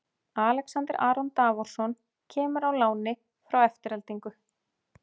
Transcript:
Alexander Aron Davorsson kemur á láni frá Aftureldingu.